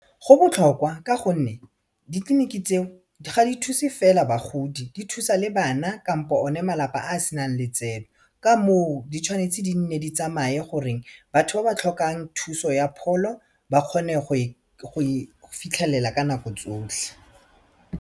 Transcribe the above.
Go botlhokwa ka gonne ditleliniki tseo di ga di thuse fela bagodi di thusa le bana kampo one malapa a senang letseno ka moo di tshwanetse di nne di tsamaye gore batho ba ba tlhokang thuso ya pholo ba kgone go e fitlhelela ka nako tsotlhe.